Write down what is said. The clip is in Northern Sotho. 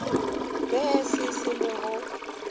be se se mo go